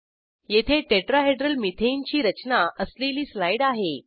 येथे tetrahedral methane ची रचना असलेली स्लाईड आहे